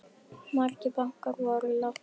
Margir bankar voru látnir rúlla.